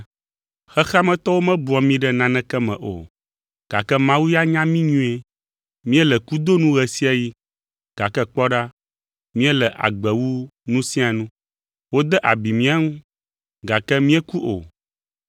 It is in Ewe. Xexea me tɔwo mebua mí ɖe naneke me o, gake Mawu ya nya mí nyuie. Míele kudo nu ɣe sia ɣi, gake kpɔ ɖa, míele agbe wu nu sia nu. Wode abi mía ŋu, gake míeku o.